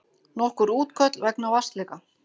Nokkur útköll vegna vatnsleka